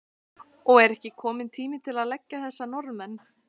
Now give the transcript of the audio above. Og er ekki kominn tími til að leggja þessa Norðmenn?